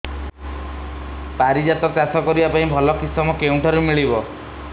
ପାରିଜାତ ଚାଷ କରିବା ପାଇଁ ଭଲ କିଶମ କେଉଁଠାରୁ ମିଳିବ